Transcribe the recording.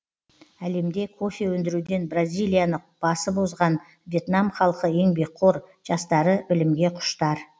әлемде кофе өндіруден бразилияны басып озған вьетнам халқы еңбекқор жастары білімге құштар